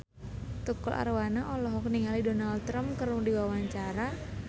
Tukul Arwana olohok ningali Donald Trump keur diwawancara